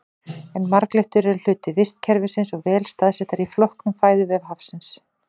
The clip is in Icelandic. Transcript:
En marglyttur eru hluti vistkerfisins og vel staðsettar í flóknum fæðuvef hafsins.